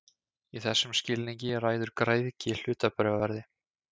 Í þessum skilningi ræður græðgi hlutabréfaverði.